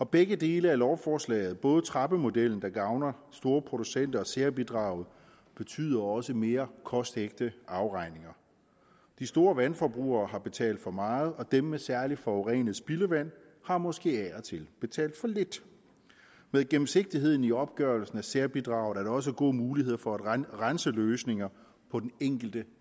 begge dele af lovforslaget både trappemodellen der gavner store producenter og særbidraget betyder også mere kostægte afregninger de store vandforbrugere har betalt for meget og dem med særlig forurenet spildevand har måske af og til betalt for lidt med gennemsigtigheden i opgørelsen af særbidraget også gode muligheder for at renseløsninger på den enkelte